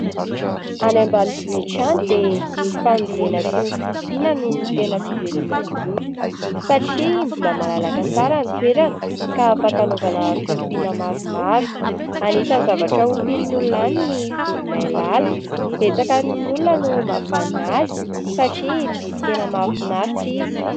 Any ambanivohitra any dia ny fambolena sy ny fiompiana no tena fiveloman'ny olona, satria mbola malalaka tsara ny toerana, ka afaka anaovana fiompiana maromaro. Anisan'ny zavatra ompian'ny olona any ny voromailala. Betsaka amin'ny olona no mahavanona azy satria biby tena mahafinaritra izy.